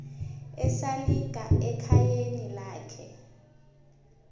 esalika ekhayeni lakhe